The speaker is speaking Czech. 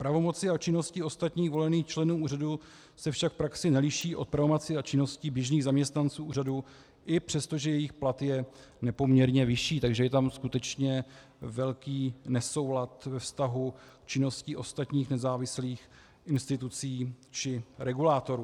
Pravomoci a činnosti ostatních volených členů úřadu se však v praxi neliší od pravomocí a činností běžných zaměstnanců úřadu, i přestože jejich plat je nepoměrně vyšší, takže je tam skutečně velký nesoulad ve vztahu k činnosti ostatních nezávislých institucí či regulátorů.